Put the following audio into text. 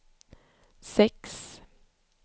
sex